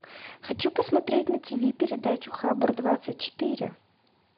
хочу посмотреть на тв передачу хабар двадцать четыре